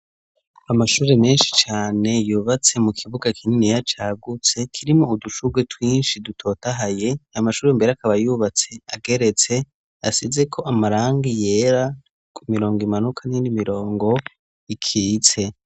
Amashuri menshi cane yubatse mu kibuga k'inini ya cagutse kirimo udushurwe twinshi dutotahaye amashuri mbere akaba yubatse ageretse asize ko amarangi yera ku mirongo imanuka n'indi mirongo ikitse.